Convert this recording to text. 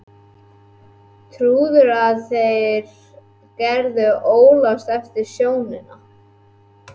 Trúirðu að þú getir öðlast aftur sjónina?